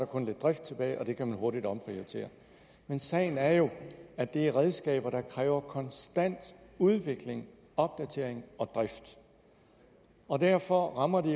kun lidt drift tilbage og det kan man hurtigt omprioritere men sagen er jo at det er redskaber der kræver konstant udvikling opdatering og drift og derfor rammer det